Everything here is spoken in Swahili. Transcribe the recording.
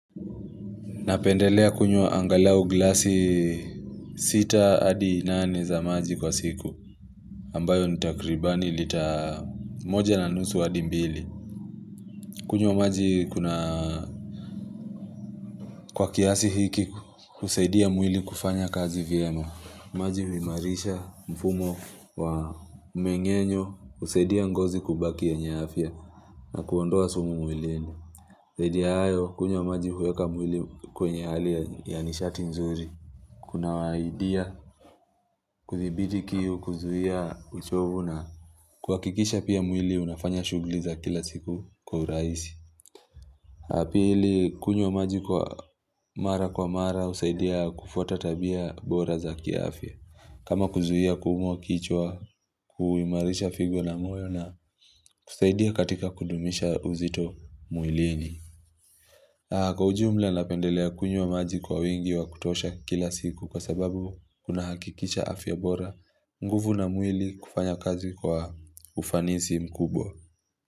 Napendelea kunywa angalau glasi sita adi nane za maji kwa siku ambayo ni takribani litamoja na nusu adi mbili. Kunywa maji kuna kwa kiasi hiki husaidia mwili kufanya kazi vyema. Maji huimarisha mfumo wa mengenyo husaidia ngozi kubaki yenye afya na kuondoa sumu mwilini. Zaidi ya hayo kunywa maji huweka mwili kwenye hali ya nishati mzuri. Kunawahidia kuthibiti kiu kuzuia uchovu na kuhakikisha pia mwili unafanya shughuli za kila siku kwa urahisi. La pili kunywa maji kwa mara kwa mara husaidia kufuata tabia bora za kiafya. Kama kuzuia kuumwa kichwa kuimarisha figo na moyo na kusaidia katika kudumisha uzito mwilini. Ha kwa ujumla napendelea kunywa maji kwa wingi wa kutosha kila siku kwa sababu kunahakikisha afya bora nguvu na mwili kufanya kazi kwa ufanisi mkubwa.